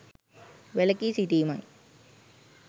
වැලකී සිටීමයි.